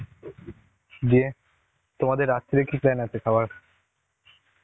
দিয়ে তোমাদের রাত্রে কি plan আছে খাবার?